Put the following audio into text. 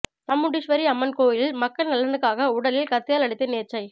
சாமுண்டீஸ்வரி அம்மன் கோயிலில் மக்கள் நலனுக்காக உடலில் கத்தியால் அடித்து நேர்ச்சை